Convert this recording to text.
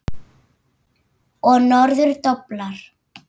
Og norður doblar.